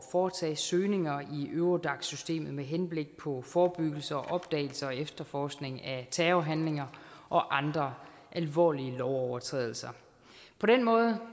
foretage søgninger i eurodac systemet med henblik på forebyggelse og opdagelse og efterforskning af terrorhandlinger og andre alvorlige lovovertrædelser på den måde